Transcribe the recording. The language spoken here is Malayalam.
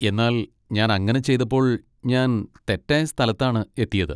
എന്നാൽ ഞാൻ അങ്ങനെ ചെയ്തപ്പോൾ, ഞാൻ തെറ്റായ സ്ഥലത്താണ് എത്തിയത്.